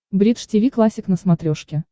бридж тиви классик на смотрешке